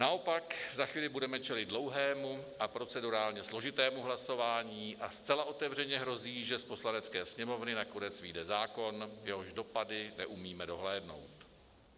Naopak, za chvíli budeme čelit dlouhému a procedurálně složitému hlasování a zcela otevřeně hrozí, že z Poslanecké sněmovny nakonec vyjde zákon, jehož dopady neumíme dohlédnout.